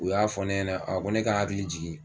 U y'a fɔ ne ɲɛnɛ a ko ne ka n hakili jigin